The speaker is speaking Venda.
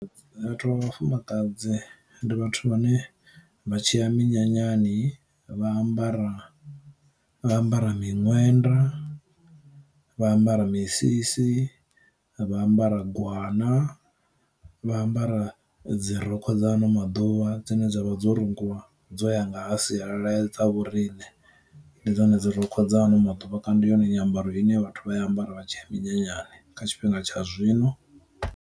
Vhathu vha vhafumakadzi ndi vhathu vhane vha tshiya minyanyani vha ambara vha ambara miṅwenda, vha ambara misisi, vha ambara gwana, vha ambara dzi rokho dza ano maḓuvha dzine dzavha dzo rungiwa dzo yanga ha sialala dza vhoriṋe, ndi dzone dzi rokho dza ano maḓuvha kana ndi yone nyambaro ine vhathu vha ya ambara vha tshiya minyanyani kha tshifhinga tsha zwino.